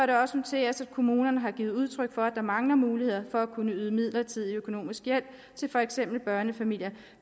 det også noteres at kommunerne har givet udtryk for at der mangler muligheder for at kunne yde midlertidig økonomisk hjælp til for eksempel børnefamilier